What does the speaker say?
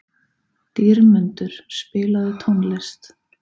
Dýrmundur, spilaðu tónlist.